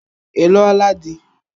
Ị lụo la di?